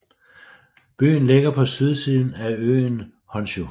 Byen ligger på sydsiden af øen Honshū